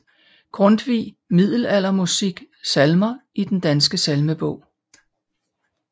Grundtvig Middelaldermusik Salmer i Den Danske Salmebog